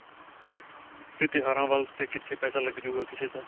'ਤੇ ਤਿਉਹਾਰਾਂ ਵੱਲ ਤਾਂ ਕਿੱਥੇ ਪੈਸਾ ਲਗ ਜਾਉਗਾ ਕਿਸੇ ਦਾ.